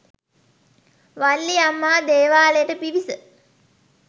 වල්ලිඅම්මා දේවාලයට පිවිස